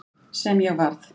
Sem ég varð.